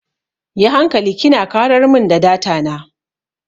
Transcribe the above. Yi hankali kina karar mun da data na.